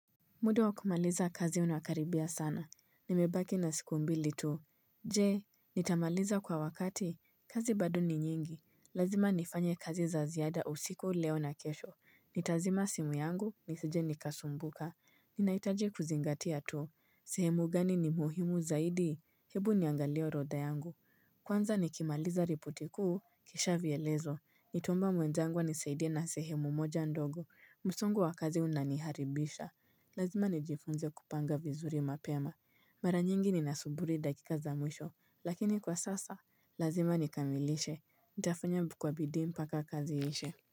Muda wa kumaliza kazi unakaribia sana. Nimebaki na siku mbili tu. Je, nitamaliza kwa wakati. Kazi bado ni nyingi. Lazima nifanye kazi za ziada usiku leo na kesho. Nitazima simu yangu, nisije nikasumbuka. Ninahitaji kuzingatia tu. Sehemu gani ni muhimu zaidi? Hebu niangalie orodha yangu. Kwanza nikimaliza ripoti kuu, kisha vielezo. Nitaomba mwenzangu anisaidia na sehemu moja ndogo. Musongo wa kazi unaniharibisha. Lazima nijifunze kupanga vizuri mapema Mara nyingi ninasuburi dakika za mwisho Lakini kwa sasa, lazima nikamilishe nitafanya kwa bidii mpaka kazi iishe.